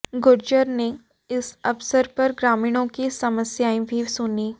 गुर्जर ने इस अवसर पर ग्रामीणों की समस्याएं भी सुनीं